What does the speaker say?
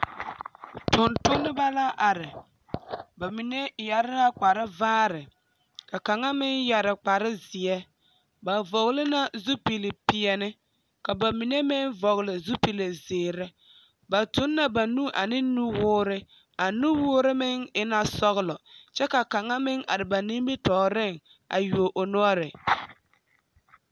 Tontonemͻ la are. ba mine yԑre la kpare vaare ka kaŋ meŋ yԑre kpare zeԑ. Ba vͻgele la zupili peԑle. Ka ba mine meŋ vͻgele zupili zeere. Ba tuŋ la ba nu a ne nuwoore. A nuwoore meŋ e la sͻgelͻ kyԑ ka kaŋa meŋ are ba nimitͻͻreŋ a yuo o noͻre.